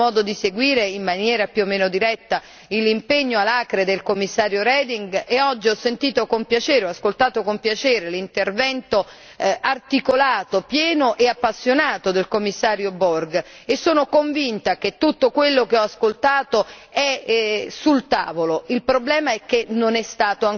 So bene quanto ha lavorato la Commissione, ho avuto modo di seguire in modo più o meno diretto l'impegno alacre del Commissario Reding e oggi ho ascoltato con piacere l'intervento articolato, pieno e appassionato del Commissario Borg e sono convinta che tutto quello che ho ascoltato è